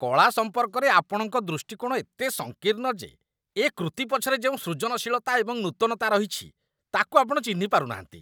କଳା ସମ୍ପର୍କରେ ଆପଣଙ୍କ ଦୃଷ୍ଟିକୋଣ ଏତେ ସଙ୍କୀର୍ଣ୍ଣ ଯେ ଏ କୃତି ପଛରେ ଯେଉଁ ସୃଜନଶୀଳତା ଏବଂ ନୂତନତା ରହିଛି, ତା'କୁ ଆପଣ ଚିହ୍ନି ପାରୁନାହାନ୍ତି।